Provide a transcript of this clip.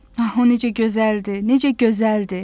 Aha o necə gözəldir, necə gözəldir.